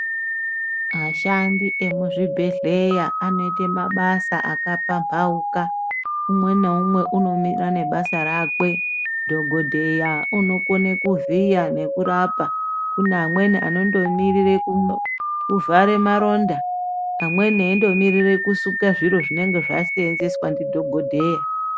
Ashandi emuzvibhedhlera anoite mabasa akapamhauka. Umweni naumwe unomira nebasa rake. Dhokodheya unokone kuvhiya nekurapa. Kune amweni anondomirire kuvhara maronda. Amweni eindomirira kusuke zviro zvinenge zvashandiswa nadhokodheya.